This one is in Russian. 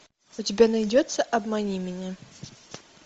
у тебя найдется обмани меня